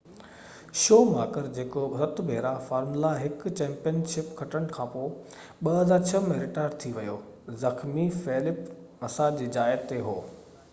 show ماڪر جيڪو 7 ڀيرا Formula 1 championship کٽڻ کانپوءِ 2006 ۾ رٽائر ٿي ويو زخمي فيلپ مسا جي جاءِ تي هو